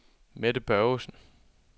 Mette Børgesen